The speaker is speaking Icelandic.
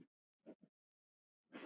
Lárus fór.